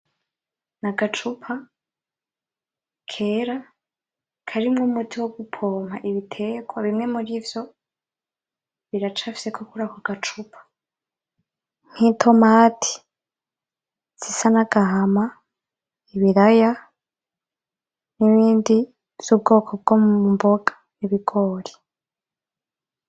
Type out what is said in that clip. Ni agacupa kera karimwo umuti wo gupompa ibiterwa bimwe muri ivyo biracafweko kurako gacupa nk’itomati zisa n’agahama ,ibiraya n’ibindi vyubwoko bwo mu mboga n’ibigori.